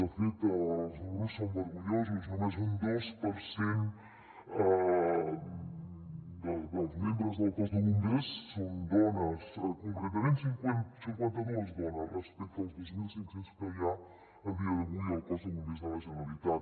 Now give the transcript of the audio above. de fet els números són vergonyosos només un dos per cent dels membres del cos de bombers són dones concretament són cinquanta·dues dones respecte als dos mil cinc cents que hi ha a dia d’avui al cos de bombers de la generalitat